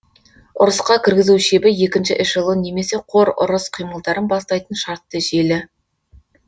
ұрысқа кіргізу шебі екінші эшелон немесе қор ұрыс қимылдарын бастайтын шартты желі